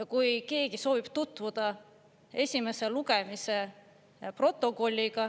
Ja kui keegi soovib tutvuda esimese lugemise protokolliga,